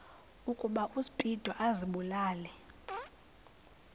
ukuba uspido azibulale